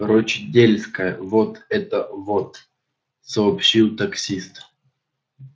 рочдельская вот это вот сообщил таксист